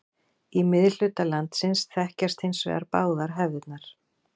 Í miðhluta landsins þekkjast hins vegar báðar hefðirnar.